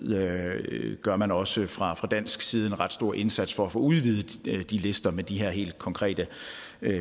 gør man også fra dansk side en ret stor indsats for at få udvidet de lister med de her helt konkrete